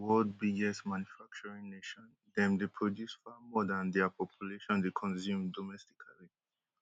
china na di world biggest manufacturing nation dem dey produce far more dan dia population dey consume domestically